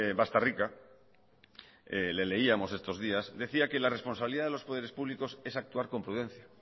bastarrica le leíamos estos días decía que la responsabilidad de los poderes públicos es actuar con prudencia